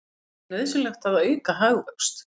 Segir nauðsynlegt að auka hagvöxt